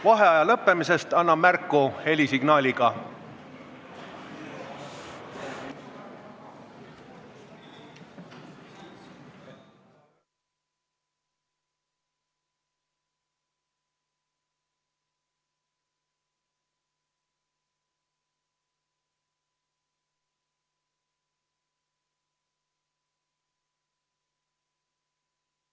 Vaheaja lõppemisest annan märku helisignaaliga.